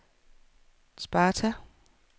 Sparta